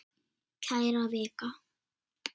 Kæra Vika!